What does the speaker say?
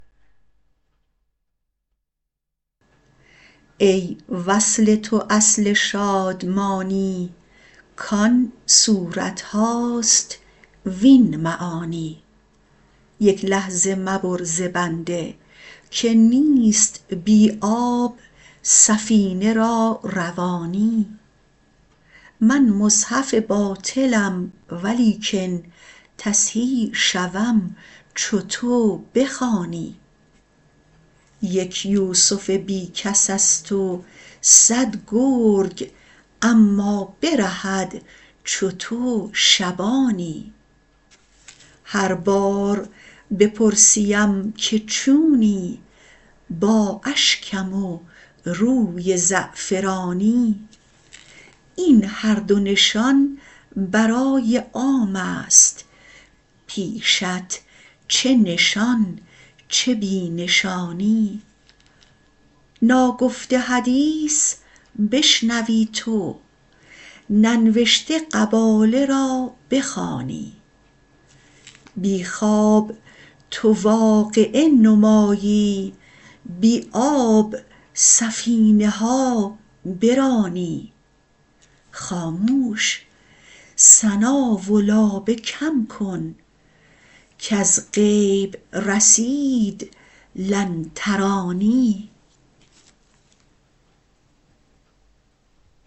ای وصل تو اصل شادمانی کان صورت هاست وین معانی یک لحظه مبر ز بنده که نیست بی آب سفینه را روانی من مصحف باطلم ولیکن تصحیح شوم چو تو بخوانی یک یوسف بی کس است و صد گرگ اما برهد چو تو شبانی هر بار بپرسیم که چونی با اشکم و روی زعفرانی این هر دو نشان برای عام است پیشت چه نشان چه بی نشانی ناگفته حدیث بشنوی تو ننوشته قباله را بخوانی بی خواب تو واقعه نمایی بی آب سفینه ها برانی خاموش ثنا و لابه کم کن کز غیب رسید لن ترانی